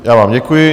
Já vám děkuji.